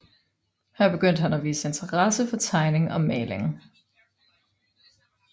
Her begyndte han at vise interesse for tegning og maling